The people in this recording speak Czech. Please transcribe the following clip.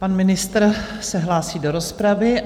Pan ministr se hlásí do rozpravy.